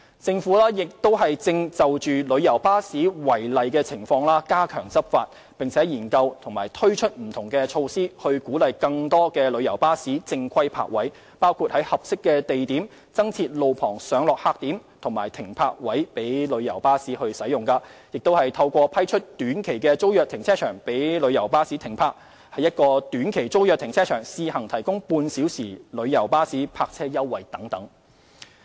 政府亦正就旅遊巴士違例情況加強執法，並研究及推出不同措施，以鼓勵更多旅遊巴士正規泊位，包括在合適地點增設路旁上落客點和停泊位供旅遊巴士使用、透過批出短期租約停車場供旅遊巴士停泊、在一個短期租約停車場試行提供旅遊巴士半小時泊位優惠等。